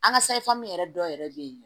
An ka sayi famu yɛrɛ dɔw yɛrɛ bɛ yen